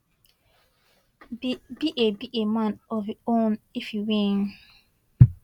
be a be a man of im own if e win